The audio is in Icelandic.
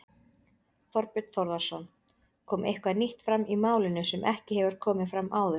Þorbjörn Þórðarson: Kom eitthvað nýtt fram í málinu sem ekki hefur komið fram áður?